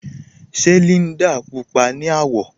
Ṣe Líndà púpọa ni awọ̀?